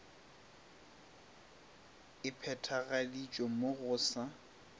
e phethagaditšwe mo go sa